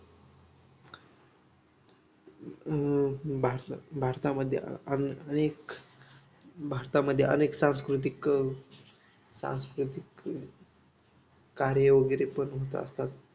अं भारतामध्ये अनेक भारतामध्ये अनेक सांस्कृतिक सांस्कृतिक कार्य वगैरे पण होत असतात